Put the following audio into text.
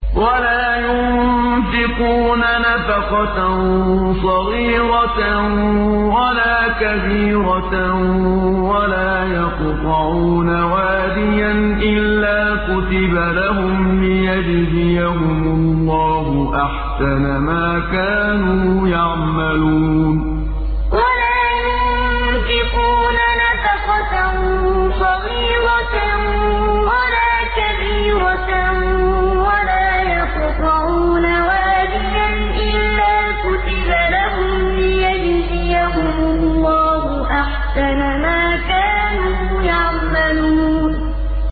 وَلَا يُنفِقُونَ نَفَقَةً صَغِيرَةً وَلَا كَبِيرَةً وَلَا يَقْطَعُونَ وَادِيًا إِلَّا كُتِبَ لَهُمْ لِيَجْزِيَهُمُ اللَّهُ أَحْسَنَ مَا كَانُوا يَعْمَلُونَ وَلَا يُنفِقُونَ نَفَقَةً صَغِيرَةً وَلَا كَبِيرَةً وَلَا يَقْطَعُونَ وَادِيًا إِلَّا كُتِبَ لَهُمْ لِيَجْزِيَهُمُ اللَّهُ أَحْسَنَ مَا كَانُوا يَعْمَلُونَ